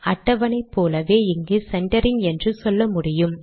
அட்டவணை போலவே இங்கு சென்டரிங் என்று சொல்லமுடியும்